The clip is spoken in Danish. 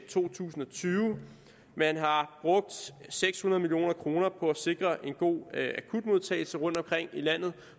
to tusind og tyve man har brugt seks hundrede million kroner på at sikre en god akutmodtagelse rundtomkring i landet